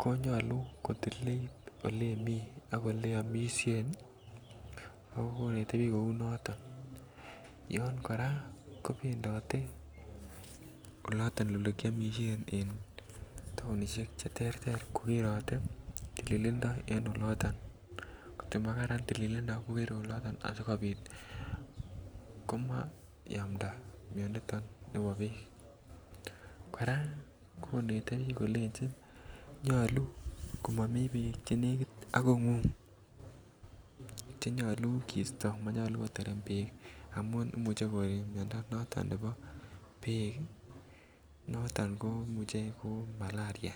ko nyolu kotililt Ole Imii ak Ole iomisien ako konet bik kou noto yon kora kobendote Ole kiomisien en taon en taonisiek Che terter kogerote tililindo en oloto angot ko makararan tililindo komwoe asi kosibit komayamptagei miando kora konete bik kolenjin nyolu komami Beek Che negit ak kongung Che nyolu kisto monyoluu koterem Beek amun Imuch koree miando noton nebo Beek ii noton ko imuche ko malaria